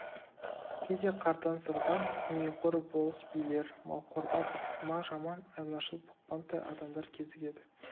кейде қартаң сырдаң дүниеқор болыс-билер малқорда бықсыма жаман айлашыл бұқпантай адамдар кезігеді